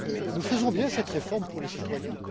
Nous faisons bien cette réforme pour les citoyens.